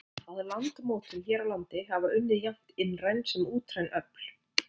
Að landmótun hér á landi hafa unnið jafnt innræn sem útræn öfl.